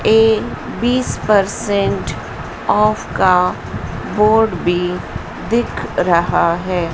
ये बीस percent off का बोर्ड भी दिख रहा है।